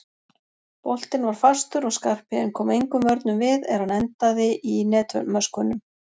Boltinn var fastur og Skarphéðinn kom engum vörnum við er hann endaði í netmöskvunum.